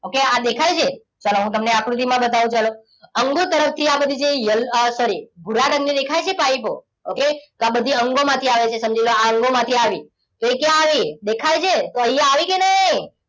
Okay આ દેખાય છે ચલો હું તમને આકૃતિમાં બતાવું ચલો અંગો તરફથી આ બધું જે yellow sorry ભૂરા રંગની દેખાય છે પાઇપો okay તો આ બધી અંગો માંથી આવે છે સમજી લો કે આ અંગોમાંથી આવ્યું એ ક્યાં આવી દેખાય છે તો અહીંયા આવી કે નહીં